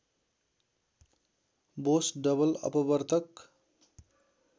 Bose double अपवर्तक